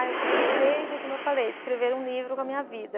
Ah, eu tenho um desejo, como eu falei, de escrever um livro com a minha vida.